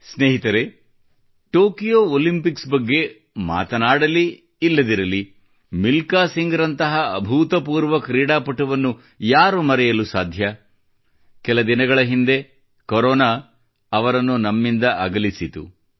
ಸ್ನೇಹಿತರೆ Tokyo Olympics ಬಗ್ಗೆ ಮಾತನಾಡುತ್ತಿರುವಾಗ ಮಿಲ್ಕಾ ಸಿಂಗ್ ರಂತಹ ಭೂತಪೂರ್ವ ಆಟಗಾರನನ್ನು ಯಾರು ಮರೆಯಬಹುದು ಕೆಲ ದಿನಗಳ ಹಿಂದೆಯೇ ಕೊರೊನಾ ಅವರನ್ನು ನಮ್ಮಿಂದ ಅಗಲಿಸಿತು